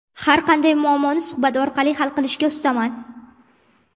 Har qanday muammoni suhbat orqali hal qilishga ustaman.